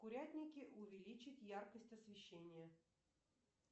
в курятнике увеличить яркость освещения